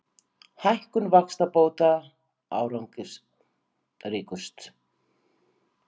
Hækkun vaxtabóta árangursríkust